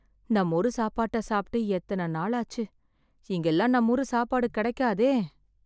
நம்மூரு சாப்பாட்ட சாப்பிட்டு எத்தன நாளாச்சு... இங்கெல்லாம் நம்மூரு சாப்பாடு கெடைக்காதே